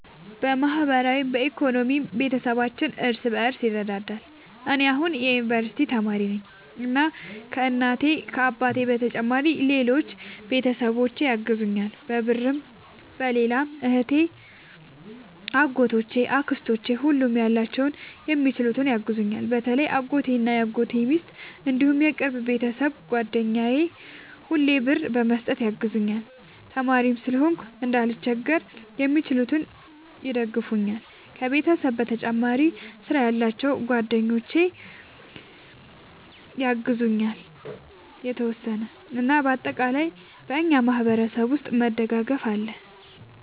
በማህበራዊም በኢኮኖሚም ቤተሰባችን እርስ በርስ ይረዳዳል። እኔ አሁን የዩንቨርስቲ ተማሪ ነኝ እና ከ እናት አባቴ በተጨማሪ ሌሎች ቤተሰቦቼ ያግዙኛል በብርም በሌላም እህቴ አጎቶቼ አክስቶቼ ሁሉም ያላቸውን በሚችሉት ያግዙኛል። በተለይ አጎቴ እና የአጎቴ ሚስት እንዲሁም የቅርብ የቤተሰብ ጓደኛ ሁሌ ብር በመስጠት ያግዙኛል። ተማሪም ስለሆንኩ እንዳልቸገር በሚችሉት ይደግፈኛል። ከቤተሰብ በተጨማሪ ስራ ያላቸው ጓደኞቼ ያግዙኛል የተወሰነ። እና በአጠቃላይ በእኛ ማህበረሰብ ውስጥ መደጋገፍ አለ